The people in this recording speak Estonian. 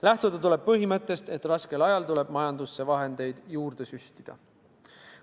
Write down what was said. Lähtuda tuleb põhimõttest, et raskel ajal tuleb majandusse vahendeid juurde süstida.